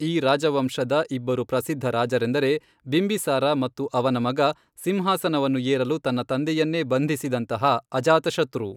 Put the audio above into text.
ಈ ರಾಜವಂಶದ ಇಬ್ಬರು ಪ್ರಸಿದ್ಧ ರಾಜರೆಂದರೆ ಬಿಂಬಿಸಾರ ಮತ್ತು ಅವನ ಮಗ, ಸಿಂಹಾಸನವನ್ನು ಏರಲು ತನ್ನ ತಂದೆಯನ್ನೇ ಬಂಧಿಸಿದಂತಹ ಅಜಾತಶತ್ರು.